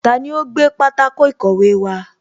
Taani ó gbé pátákó ìkọ̀wé wá